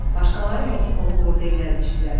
Başqaları həkim olub ordiya gəlmişdilər.